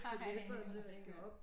Ej hvor skørt